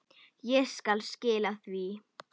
Ég skal skila því.